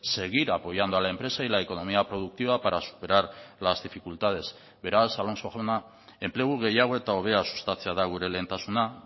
seguir apoyando a la empresa y la economía productiva para superar las dificultades beraz alonso jauna enplegu gehiago eta hobea sustatzea da gure lehentasuna